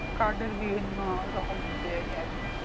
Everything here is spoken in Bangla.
card এর বিভিন্ন রকম দেয় আরকি